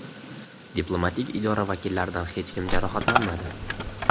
Diplomatik idora vakillaridan hech kim jarohatlanmadi.